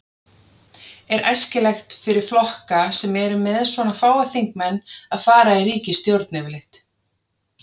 Er æskilegt fyrir flokka sem eru með svona fáa þingmenn að fara í ríkisstjórn yfirleitt?